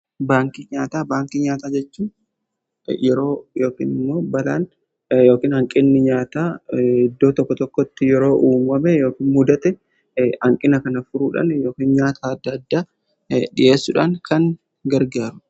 baankii nyaataa baankii nyaataa jechuun yeroo yookiin immoo balaan ykn hanqinni nyaataa iddoo tokko tokkotti yeroo uamame yookiin mudate hanqina kana furuudhaan ykn nyaata adda addaa dhi'eessuudhaan kan gargaaru.